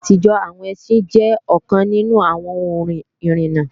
Ní ìgbà àtijọ́, àwọn ẹsín jẹ́ ọ̀kan nínú àwọn ohun ìrìna